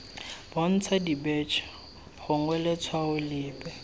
bontsha dibetšhe gongwe letshwao lepe